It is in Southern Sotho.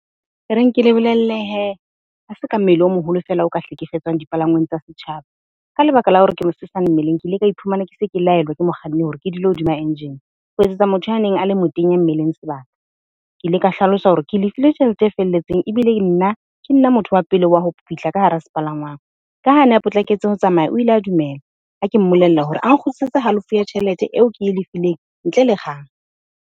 Ereng ke le bolelle hee ha se ka mmele o moholo fela o ka hlekefetsang dipalangwang tsa setjhaba. Ka lebaka la hore ke mosesane mmeleng ke ile ka iphumana ke se ke laelwa ke mokganni hore ke dula hodima engine, ho etsetsa motho a neng a le motenya mmeleng sebaka. Ke ile ka hlalosa hore ke lefile tjhelete e felletseng ebile nna, ke nna motho wa pele wa ho fihla ka hara sepalangwang. Ka ha a ne a potlaketse ho tsamaya. O ile a dumela ha ke mmolelle hore a nkgutlisetse halofo ya tjhelete eo ke e lefileng ntle le kgang.